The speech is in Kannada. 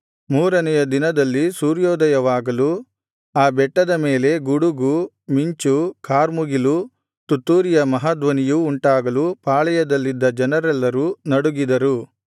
ಮೂರನೆಯ ದಿನದಲ್ಲಿ ಸೂರ್ಯೋದಯವಾಗಲು ಆ ಬೆಟ್ಟದ ಮೇಲೆ ಗುಡುಗು ಮಿಂಚೂ ಕಾರ್ಮುಗಿಲೂ ತುತ್ತೂರಿಯ ಮಹಾಧ್ವನಿಯೂ ಉಂಟಾಗಲು ಪಾಳೆಯಲ್ಲಿದ್ದ ಜನರೆಲ್ಲರೂ ನಡುಗಿದರು